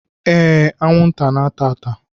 Ee, anwụnta na-ata ata